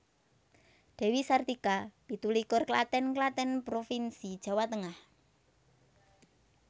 Dewi Sartika pitu likur Klaten Klaten provinsi Jawa Tengah